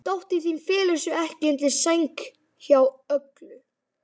Dóttir þín felur sig ekki undir sæng hjá Öglu.